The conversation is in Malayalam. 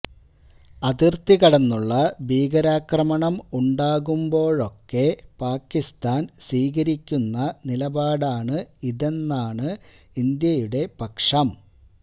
അതിര്ത്തികടന്നുള്ള ഭീകരാക്രമണം ഉണ്ടാകുമ്പോഴൊക്കെ പാകിസ്താന് സ്വീകരിക്കുന്ന നിലപാടാണ് ഇതെന്നാണ് ഇന്ത്യയുടെ പക്ഷം